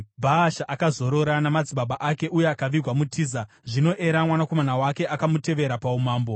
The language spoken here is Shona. Bhaasha akazorora namadzibaba ake uye akavigwa muTiza. Zvino Era, mwanakomana wake, akamutevera paumambo.